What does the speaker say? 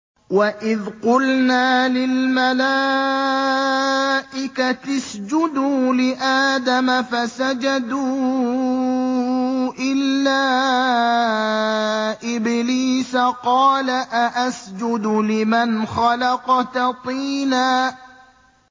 وَإِذْ قُلْنَا لِلْمَلَائِكَةِ اسْجُدُوا لِآدَمَ فَسَجَدُوا إِلَّا إِبْلِيسَ قَالَ أَأَسْجُدُ لِمَنْ خَلَقْتَ طِينًا